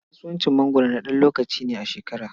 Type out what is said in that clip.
Kasuwacin mangwaro na ɗan lokaci ne a shekara.